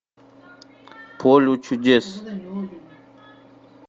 поле чудес